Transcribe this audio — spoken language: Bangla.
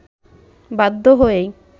বাধ্য হয়েই